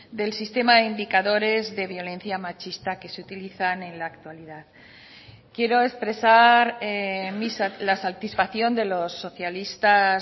del sistema de indicadores de violencia machista que se utilizan en la actualidad quiero expresar la satisfacción de los socialistas